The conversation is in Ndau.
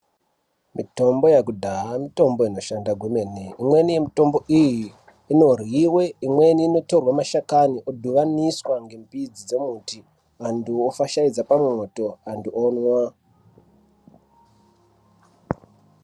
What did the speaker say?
Mitombo yekudhaya mitombo inoshanda kwemene, imweni mitombo iyi inoryiwe, imweni inotorwe mashakani yodhibaniswa ngemidzi yemiti, vantu vofashaidza pamwoto, antu onwa.